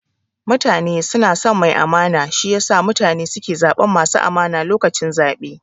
Mutane suna son mai amana, shi yasa mutane suke zaɓan masu amana lokacin zaɓe